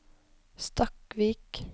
Stakkvik